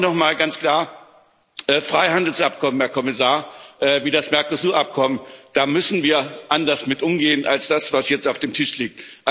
Aber auch nochmal ganz klar Freihandelsabkommen, Herr Kommissar, wie das Mercosur Abkommen da müssen wir anders mit umgehen, als das, was jetzt auf dem Tisch liegt.